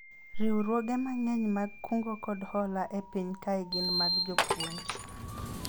riwruoge mang'eny mag kungo kod hola e piny kae gin mag jopuonj